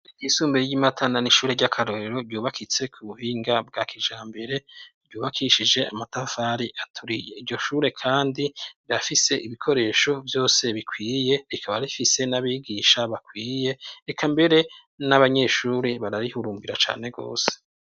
Isumbe ry'imatana n'ishure ry'akarorero ryubakitse ku buhinga bwa kijambere, ryubakishije amatafari aturiye iryo shure kandi rirafise ibikoresho vyose bikwiye rikaba rifise n'abigisha bakwiye eka mbere n'abanyeshuri bararihurumbira cane gose.